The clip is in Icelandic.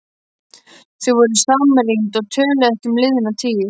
Þau voru samrýnd og töluðu ekki um liðna tíð.